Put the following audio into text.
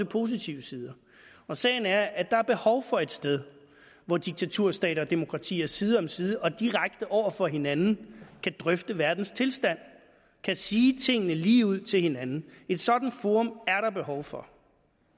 positive sider sagen er at der er behov for et sted hvor diktaturstater og demokratier side om side og direkte over for hinanden kan drøfte verdens tilstand kan sige tingene ligeud til hinanden et sådant forum er der behov for